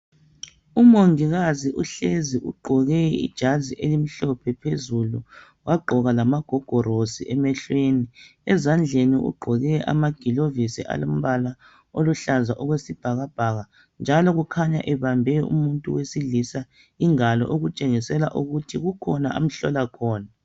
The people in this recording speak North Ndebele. Umongikazi uhlezi ugqoke ijazi elimhlophe phezulu wagqoka lamagogorosi emehlweni. Ezandleni ugqoke amagilovisi alombala oluhlaza okwesibhakabhaka njalo kukhanya ebambe umuntu wesilisa ingalo okutshengisela ukuthi kukhona amhlola khona.